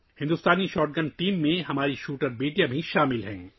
ہماری شوٹر بیٹیاں بھی ہندوستانی شاٹ گن ٹیم میں شامل ہیں